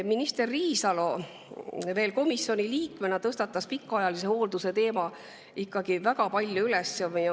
Minister Riisalo veel komisjoni liikmena tõstatas pikaajalise hoolduse teemat ikkagi väga palju.